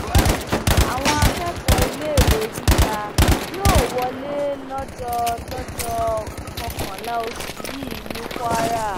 àwọn akẹkọọ iléèwé gíga yóò wọlé lọjọ lọjọ kọkànlá oṣù yìí ní kwara